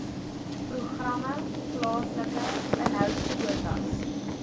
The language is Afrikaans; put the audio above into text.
programme plaaslike inhoudkwotas